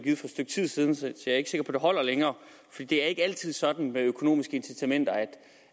et stykke tid siden så jeg er ikke sikker på at det holder længere det er ikke altid sådan med økonomiske incitamenter